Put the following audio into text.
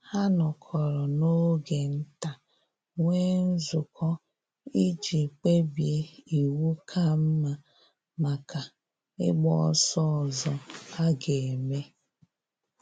Ha nọkọrọ n'oge nta nwee nzukọ iji kpebie iwu ka mma maka ịgba ọsọ ọzọ a ga-eme